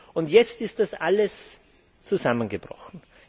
Und jetzt ist das alles zusammengebrochen.